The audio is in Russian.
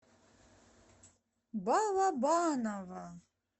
балабаново